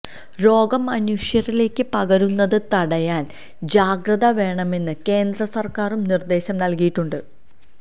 രോഗം മനുഷ്യരിലേക്ക് പകരുന്നത് തടയാന് ജാഗ്രത വേണമെന്ന് കേന്ദ്രസര്ക്കാരും നിര്ദേശം നല്കിയിട്ടുണ്ട്